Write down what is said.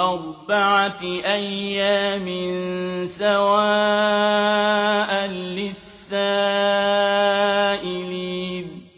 أَرْبَعَةِ أَيَّامٍ سَوَاءً لِّلسَّائِلِينَ